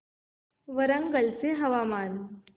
वरंगल चे हवामान